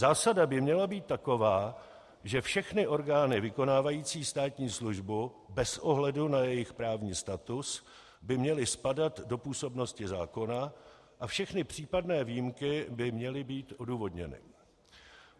Zásada by měla být taková, že všechny orgány vykonávající státní službu, bez ohledu na jejich právní status, by měly spadat do působnosti zákona a všechny případné výjimky by měly být odůvodněny.